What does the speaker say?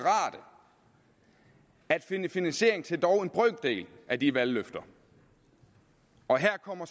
at finde finansiering til en brøkdel af de valgløfter og her kommer